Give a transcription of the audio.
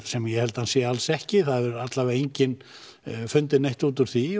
sem ég held að sé alls ekki það hefur allavega enginn fundið neitt út úr því